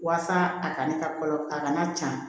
Walasa a kana kɔlɔ a kana ca